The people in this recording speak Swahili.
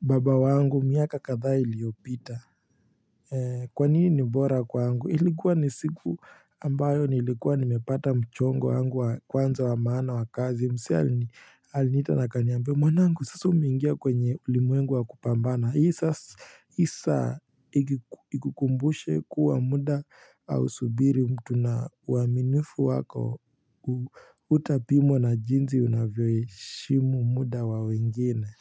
baba wangu miaka kadhaa iliopita Kwa nini ni bora kwangu? Ilikuwa ni siku ambayo nilikuwa nimepata mchongo wangu wa kwanza wa maana wa kazi msee aliniita na akaniambia, mwanangu sasa umeingia kwenye ulimwengu wa kupambana hii saa ikukumbushe kuwa muda au subiri mtu na uaminifu wako utapimwa na jinzi unavyoheshimu muda wa wengine.